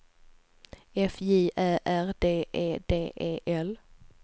F J Ä R D E D E L